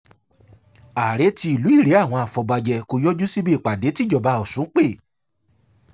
àrèé ti ìlú irèé àwọn afọbajẹ kò yọjú síbi ìpàdé tìjọba ọ̀sùn pé